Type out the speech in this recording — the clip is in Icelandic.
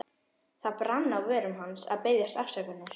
Það brann á vörum hans að biðjast afsökunar.